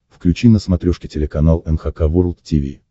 включи на смотрешке телеканал эн эйч кей волд ти ви